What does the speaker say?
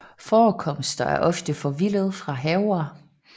Forekomster er ofte forvildede fra haver